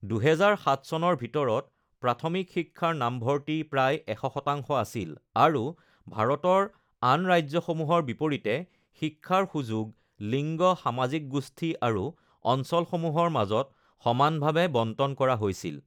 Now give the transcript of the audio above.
২০০৭ চনৰ ভিতৰত প্ৰাথমিক শিক্ষাৰ নামভৰ্তি প্ৰায় ১০০% আছিল, আৰু ভাৰতৰ আন ৰাজ্যসমূহৰ বিপৰীতে শিক্ষাৰ সুযোগ লিঙ্গ, সামাজিক গোষ্ঠী, আৰু অঞ্চলসমূহৰ মাজত সমানভাৱে বণ্টন কৰা হৈছিল।